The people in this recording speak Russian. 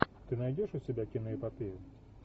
ты найдешь у себя киноэпопею